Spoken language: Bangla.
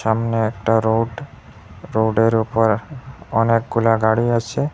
সামনে একটা রোড রোডের ওপর অনেকগুলা গাড়ি আছে।